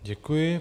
Děkuji.